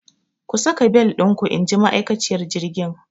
Ku saka bel ɗinku inji ma'akaciyar jirgin!